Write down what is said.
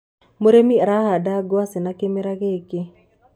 mũrĩmi arahanda ngwaci na kĩmera gikĩ